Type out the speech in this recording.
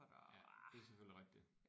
Ja det er selvfølgelig rigtigt